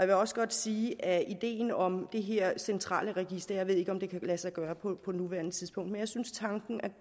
vil også godt sige at ideen om det her centrale register jeg ved ikke om det kan lade sig gøre på nuværende tidspunkt er